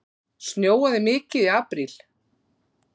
Snjóaði mikið í apríl?